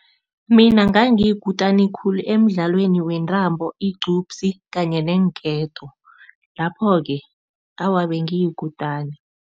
Mina ngangiyikutani khulu emidlalweni wentambo, igcubsi kanye neenketo lapho-ke awa, bengiyikutana.